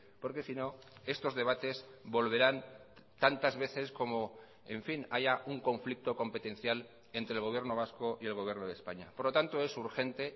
porque si no estos debates volverán tantas veces como en fin haya un conflicto competencial entre el gobierno vasco y el gobierno de españa por lo tanto es urgente